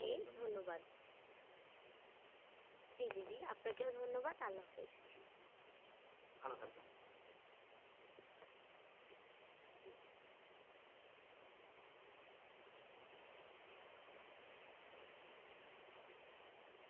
জি ধন্যবাদ জি জি জি আপনাকেও ধন্যবাদ আল্লাহ হাফিজ।